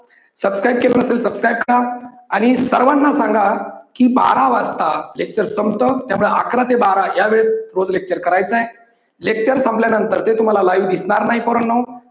subscribe केलेलं नसेल subscribe करा. आणि सर्वांना सांगा की बारा वाजता lecture संपत त्यामुळे अकरा ते बारा या वेळेत रोज lecture करायच आहे. lecture संपल्या नंतर ते तुम्हाला live दिसणार नाही पोरांनो